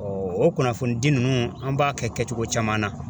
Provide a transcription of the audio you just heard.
o kunnafoni di ninnu an b'a kɛkɛcogo caman na.